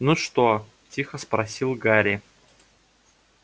ну что тихо спросил гарри